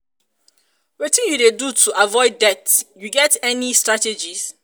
wetin you dey um do to avoid debt you get any um strategies?